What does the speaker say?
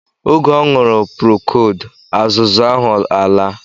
Oge ọ ñụrụ prokold azuzu ahụ alaa